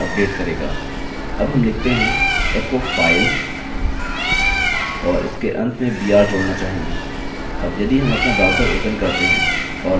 अब हम लिखते हैं echo file और इसके अंत में br जोड़ना चाहेंगे